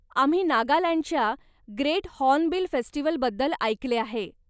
आम्ही नागालँडच्या great hornbill फेस्टिवलबद्दल ऐकले आहे.